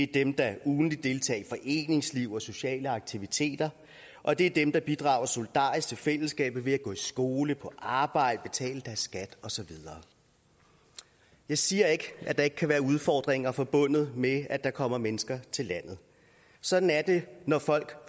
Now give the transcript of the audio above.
dem der ugentligt deltager i foreningsliv og sociale aktiviteter og det er dem der bidrager solidarisk til fællesskabet ved at gå i skole på arbejde betale deres skat og så videre jeg siger ikke at der ikke kan være udfordringer forbundet med at der kommer mennesker til landet sådan er det når folk